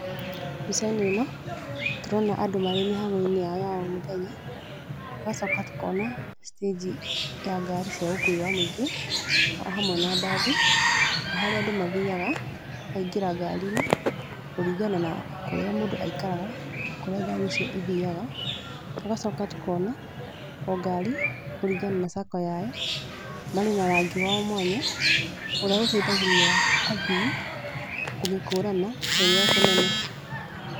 Mbica-inĩ ĩno, tũrona andũ marĩ mĩhang'o-inĩ yao ya o mũthenya. Tũgacoka tũkona stage ya ngari cia ũkuui wa mũingĩ o hamwe na mbathi. O harĩa andũ mathiaga, makaingĩra ngari-inĩ, kũringana na kũrĩa mũndũ aikaraga, na kũrĩa ngari icio ithiaga. Tũgacoka tũkona, o ngari, kũringana na sacco yayo, marĩ na rangi wao mwanya, ũrĩa ũteithagĩrĩria athii, kũmĩkũrana ĩrĩ o kũnene.